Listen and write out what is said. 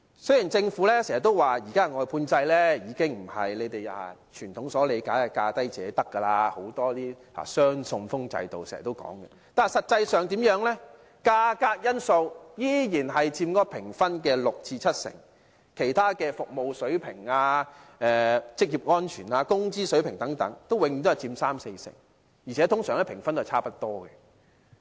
雖然政府經常表示，現行的外判制度已經不是我們傳統所理解的價低者得形式，而是採用"雙信封制"，但實際上價格因素仍然佔該評分的六成至七成，其他服務水平、職業安全、工資水平等永遠只佔三四成，而且通常評分是差不多的。